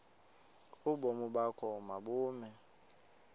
ubomi bakho mabube